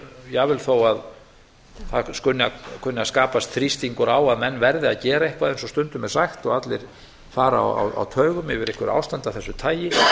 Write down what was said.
jafnvel þó að það kunni að skapast þrýstingur á að menn verði að gera eitthvað eins og stundum er sagt og allir fara á taugum yfir einhverju ástandi af þessu tagi